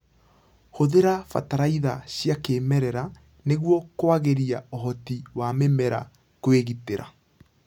Hũthĩra bataraitha cia kĩmerera nĩguo kwagĩria ũhoti wa mĩmera kwĩgitĩra.